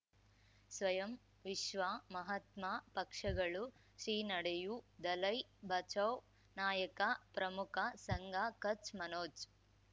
ಸ್ವಯಂ ವಿಶ್ವ ಮಹಾತ್ಮ ಪಕ್ಷಗಳು ಶ್ರೀ ನಡೆಯೂ ದಲೈ ಬಚೌ ನಾಯಕ ಪ್ರಮುಖ ಸಂಘ ಕಚ್ ಮನೋಜ್